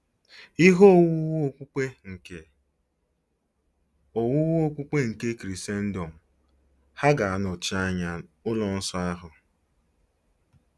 Ihe owuwu okpukpe nke owuwu okpukpe nke Krisendọm hà ga-anọchi anya ụlọ nsọ ahụ?